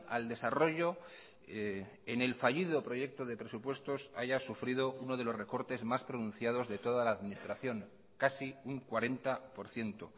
al desarrollo en el fallido proyecto de presupuestos haya sufrido uno de los recortes más pronunciados de toda la administración casi un cuarenta por ciento